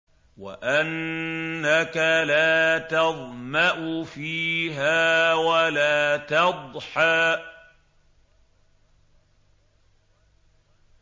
وَأَنَّكَ لَا تَظْمَأُ فِيهَا وَلَا تَضْحَىٰ